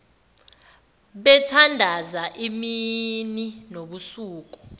bethandaza imini nobusuku